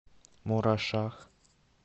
мурашах